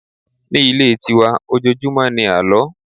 Ní ilé ti wa, ojojumo ní àló.